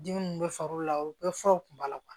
Dimi min bɛ far'o la o bɛɛ furaw b'a la kuwa